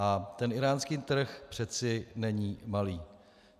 A ten íránský trh přece není malý.